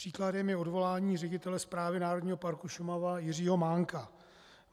Příkladem je odvolání ředitele Správy Národního parku Šumava Jiřího Mánka.